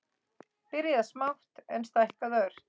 Byrjað smátt, en stækkað ört.